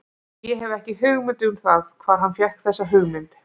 Ég hef ekki hugmynd um það hvar hann fékk þessa hugmynd.